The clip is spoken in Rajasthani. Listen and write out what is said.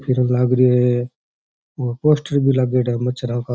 फ़िरन लाग रो है और पोस्टर भी लाग रो है माछरा का --